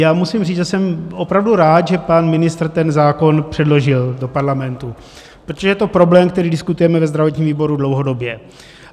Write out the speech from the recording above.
Já musím říct, že jsem opravdu rád, že pan ministr ten zákon předložil do Parlamentu, protože je to problém, který diskutujeme ve zdravotním výboru dlouhodobě.